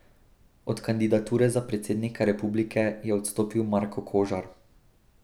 Od kandidature za predsednika republike je odstopil Marko Kožar.